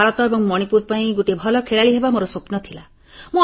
ଭାରତ ଏବଂ ମଣିପୁର ପାଇଁ ଗୋଟିଏ ଭଲ ଖେଳାଳି ହେବା ମୋର ସ୍ୱପ୍ନ ଥିଲା